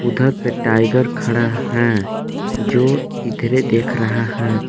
उधर पर टाइगर खड़ा है जो इधरे देख रहा है।